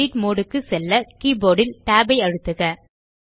edit mode க்கு செல்ல keyboard ல் tab ஐ அழுத்துக